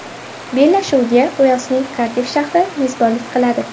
Bellashuvga Uelsning Kardiff shahri mezbonlik qiladi.